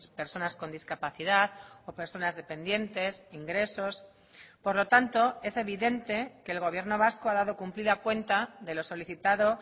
personas con discapacidad o personas dependientes ingresos por lo tanto es evidente que el gobierno vasco ha dado cumplida cuenta de lo solicitado